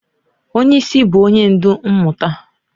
Onye isi bụ onye ndu mmụta.